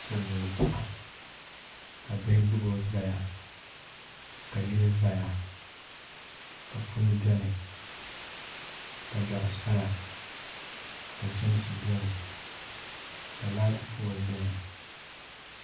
Silmiin paɣa ka bihi gbubo ʒɛya ka yili ʒɛya ka puni biɛni ka dari saya ka chɛmsi biɛni ka laati pool biɛni